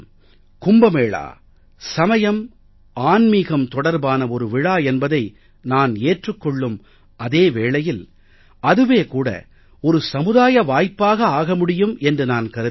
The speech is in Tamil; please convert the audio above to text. கும்ப மேளா சமயம் ஆன்மீகம் தொடர்பான ஒரு விழா என்பதை நான் ஏற்றுக் கொள்ளும் அதே வேளையில் அதுவே கூட ஒரு சமுதாய வாய்ப்பாக ஆக முடியும் என்று நான் கருதுகிறேன்